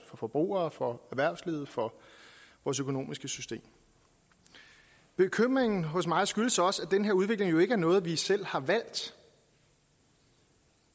forbrugere for erhvervslivet for vores økonomiske system bekymringen hos mig skyldes også at den her udvikling jo ikke er noget vi selv har valgt